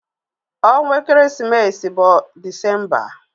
Ọnwa ekeresimesi bụ December.